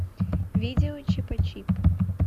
видео чипачип